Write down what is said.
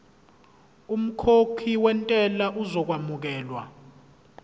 umkhokhi wentela uzokwamukelwa